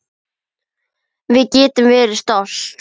Við getum verið stolt.